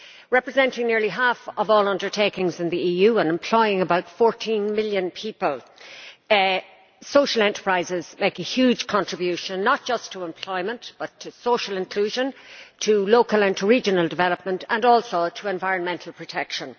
Representing nearly half of all undertakings in the EU and employing about 14 million people, social enterprises make a huge contribution not just to employment but also to social inclusion, to local and to regional development and to environmental protection.